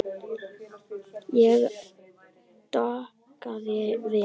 Ég dokaði við.